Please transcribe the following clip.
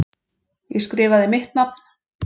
Ég skrifaði mitt nafn.